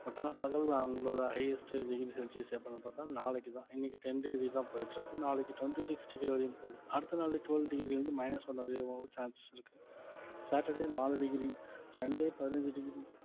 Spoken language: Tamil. but ஆனா பகல்ல அவங்களோட highest வெயில் celsius எப்பன்னு பார்த்தா நாளைக்கு தான் இன்னைக்கு ten degree தான் போயிட்டு இருக்கு நாளைக்கு twenty-sixty degree வரையும் போது அடுத்த நாளே twelve degree ல இருந்து minus one வரைக்கும் வர chances இருக்கு சாட்டர்டே நாலு degree சண்டே பதினஞ்சு degree